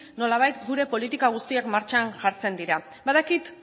nolabait gure politika guztiak martxan jartzen dira badakit